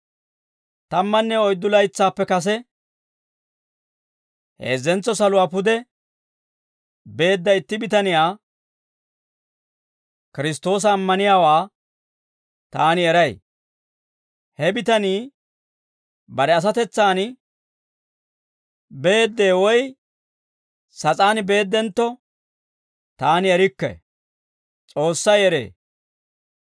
Tammanne oyddu laytsaappe kase, heezzentso saluwaa pude beedda itti bitaniyaa, Kiristtoosa ammaniyaawaa, taani eray; he bitanii bare asatetsaan beedee woy sas'aan beeddentto, taani erikke; S'oossay eree.